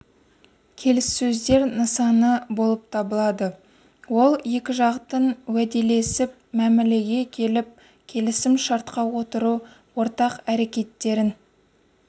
келіссөздер нысаны болып табылады ол екі жақтың уәделесіп мәмілеге келіп келісім шартқа отыру ортақ әрекеттерін